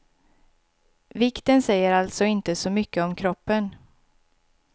Vikten säger alltså inte så mycket om kroppen.